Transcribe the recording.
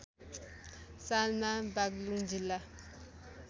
सालमा बाग्लुङ जिल्ला